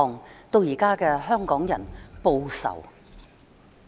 "，演變成現在的"香港人，報仇！